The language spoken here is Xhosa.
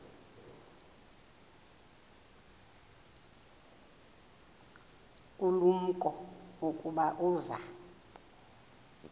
ulumko ukuba uza